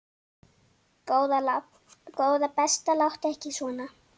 Góða besta láttu ekki svona!